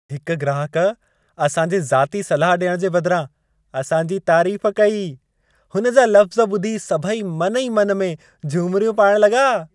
हिक ग्राहक असां जे ज़ाती सलाह ॾियण जे बदिरां असां जी तारीफ़ कई। हुनजा लफ़्ज़ ॿुधी सभई मन ई मन में झुमिरियूं पाइण लॻा।